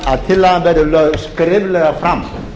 að tillagan verði lögð skriflega fram